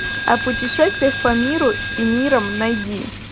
о путешествиях по миру и мирам найди